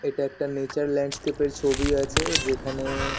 এটা একটা nature landscape -এর ছবি আছে। যেখানে --